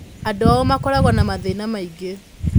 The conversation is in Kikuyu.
Aingĩ ao makoragwo na mathĩna maingĩ.